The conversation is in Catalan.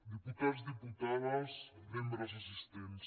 diputats diputades membres assis·tents